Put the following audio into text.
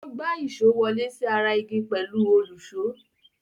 Ó gbá èṣó wọlé sí ara igi pẹ̀lú òlùṣó.